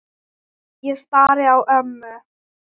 Ég starði á ömmu.